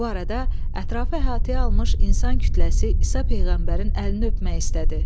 Bu arada ətrafı əhatəyə almış insan kütləsi İsa peyğəmbərin əlini öpmək istədi.